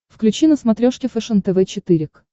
включи на смотрешке фэшен тв четыре к